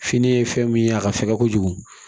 Fini ye fɛn min ye a ka fɛgɛn kojugu